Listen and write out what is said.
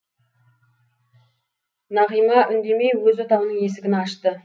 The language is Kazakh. нағима үндемей өз отауының есігін ашты